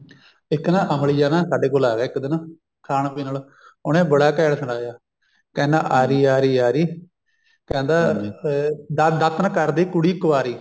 ਇੱਕ ਨਾ ਅਮਲੀ ਜਿਹਾ ਨਾ ਸਾਡੇ ਕੋਲ ਆ ਗਿਆ ਇੱਕ ਦਿਨ ਖਾਣ ਪੀਣ ਉਹਨੇ ਬੜਾ ਘੈਂਟ ਸੁਣਾਇਆ ਕਹਿੰਦਾ ਆਰੀ ਆਰੀ ਆਰੀ ਕਹਿੰਦਾ ਅਹ ਦਾਤਣ ਕਰਦੀ ਕੁੜੀ ਕਵਾਰੀ